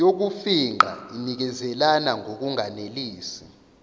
yokufingqa inikezelana ngokunganelisi